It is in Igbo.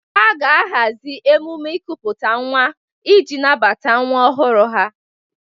Ha ga-ahazi emume nkupute nwa ịji nabata nwa ọhụrụ ha.